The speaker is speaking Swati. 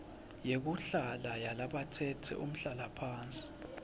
yekuhlala yalabatsetse umhlalaphansi